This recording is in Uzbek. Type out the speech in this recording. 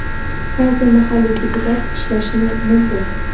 qaysi mahalliy deputat ishlashi mumkin?.